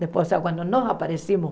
Depois, nós aparecemos,